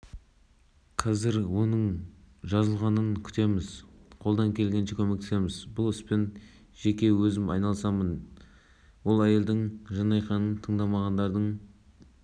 ол сонымен қатар шағымданған мәселесі бойынша шешімді алдын ала заңсыз деп тану дұрыс емес деп санайды